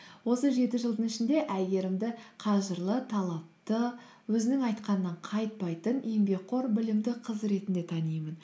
осы жеті жылдың ішінде әйгерімді қажырлы талапты өзінің айтқанынан қайтпайтын еңбекқор білімді қыз ретінде танимын